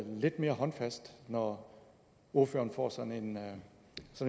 lidt mere håndfast når ordføreren får sådan